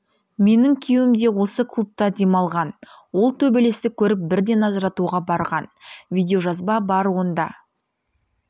менің күйеуім де осы клубта демалған ол төбелесті көріп бірден ажыратуға барған видеожазба бар онда